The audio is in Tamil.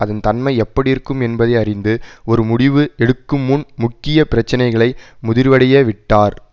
அதன் தன்மை எப்படி இருக்கும் என்பதை அறிந்து ஒரு முடிவு எடுக்குமுன் முக்கிய பிரச்சினைகளை முதிர்வடைய விட்டார்